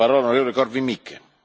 Panie Przewodniczący!